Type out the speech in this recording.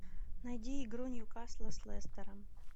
найди игру ньюкасла с лестером